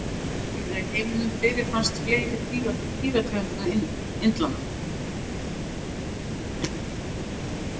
Óvíða í heiminum fyrirfinnast fleiri dýrategundir en á Indlandi.